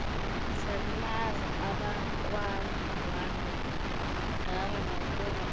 salimaza abakwandwandwe ngangokuba